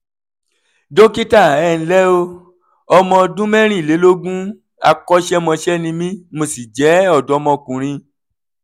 dókítà ẹ ǹlẹ́ o ọmọ ọdún mẹ́rìnlélógún akọ́ṣẹ́mọṣẹ́ ni mí mo sì jẹ́ ọ̀dọ́mọkùnrin